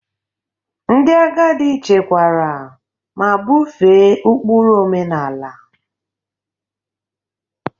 Ndị agadi chekwara ma bufee ụkpụrụ omenala.